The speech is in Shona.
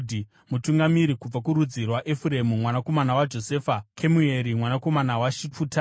Mutungamiri kubva kurudzi rwaEfuremu mwanakomana waJosefa, Kemueri mwanakomana waShifutani;